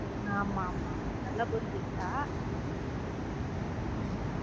ஆமா ஆமா ஆமா நல்லா புரிஞ்சுகிட்ட உம்